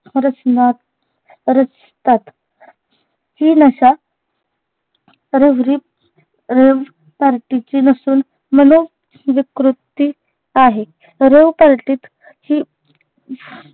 रचनात रचतात. ही नशा रेवरी revparty ची नसून मनोविकृती आहे. revparty त ही